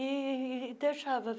E deixava.